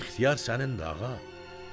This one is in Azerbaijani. İxtiyar sənindir, ağa.